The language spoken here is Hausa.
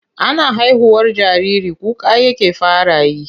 Ana haihuwar jariri kuka yake fara yi.